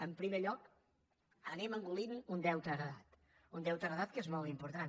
en primer lloc anem engolint un deute heretat un deute heretat que és molt important